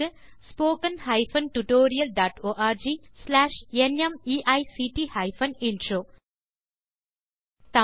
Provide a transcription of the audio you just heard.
spoken hyphen tutorial dot org slash நிமைக்ட் hyphen intro மூல பாடம் தேசி க்ரூ சொலூஷன்ஸ்